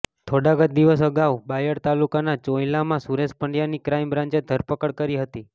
થોડાક જ દિવસ આગાઉ બાયડ તાલુકાના ચોંઈલામાં સુરેશ પંડ્યાની ક્રાઈમ બ્રાન્ચે ધરપકડ કરી હતી